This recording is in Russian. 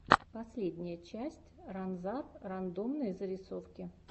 последняя часть ранзар рандомные зарисовки